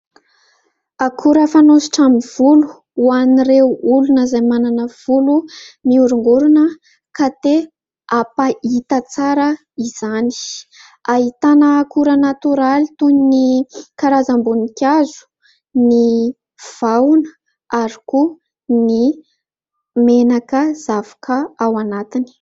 Akora fanosotra amin'ny volo ho an'ireo olona izay manana volo mihorongorona ka te hampahita tsara izany. Ahitana akora natoraly toy ny karazam-boninkazo, ny vahona ary koa ny menaka zavoka ao anatiny.